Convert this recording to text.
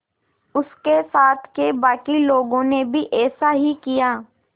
उसके साथ के बाकी लोगों ने भी ऐसा ही किया